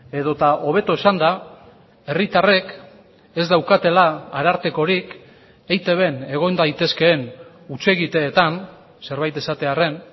edota hobeto esanda herritarrek ez daukatela arartekorik eitbn egon daitezkeen hutsegiteetan zerbait esatearren